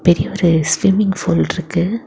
இங்க ஒரு swimming pool இருக்கு.